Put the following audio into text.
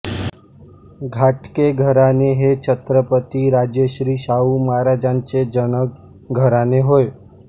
घाटगे घराणे हे छत्रपती राजर्षी शाहू महाराजांचे जनक घराणे होय